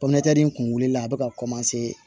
nin kun wuli la a bɛ ka